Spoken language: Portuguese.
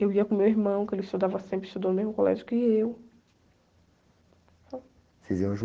Eu ia com meu irmão, que ele estudava, sempre estudou no mesmo colégio que eu.ocês iam juntos?